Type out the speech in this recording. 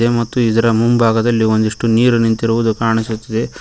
ಮತ್ತು ಇದರ ಮುಂಭಾಗದಲ್ಲಿ ಒಂದಿಷ್ಟು ನೀರು ನಿಂತಿರುವುದು ಕಾಣಿಸುತ್ತದೆ.